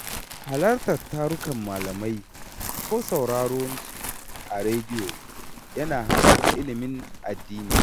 Halartar tarurrukan malamai ko sauraronsu a rediyo yana haɓaka ilimin addini